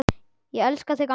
Elska þig, amma.